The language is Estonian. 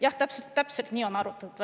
Jah, nii täpselt on välja arvutatud.